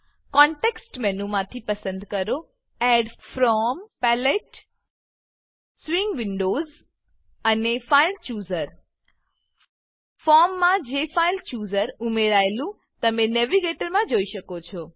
context મેનુમાંથી પસંદ કરો add from palette add from palette swing windows swing windows અને ફાઇલ ચૂઝર ફાઈલ ચુઝર ફોર્મમાં જેફાઇલચૂઝર ઉમેરાયેલું તમે નેવિગેટર નેવીગેટર માં જોઈ શકો છો